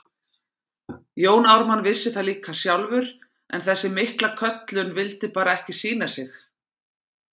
Jón Ármann vissi það líka sjálfur, en þessi mikla köllun vildi bara ekki sýna sig.